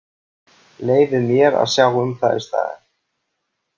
Leyfið mér að sjá um það í staðinn.